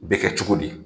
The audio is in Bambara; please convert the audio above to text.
Bɛ kɛ cogo di